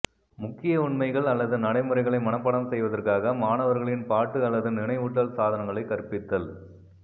முக்கிய உண்மைகள் அல்லது நடைமுறைகளை மனப்பாடம் செய்வதற்காக மாணவர்களின் பாட்டு அல்லது நினைவூட்டல் சாதனங்களை கற்பித்தல்